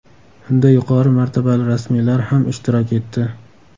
Unda yuqori martabali rasmiylar ham ishtirok etdi.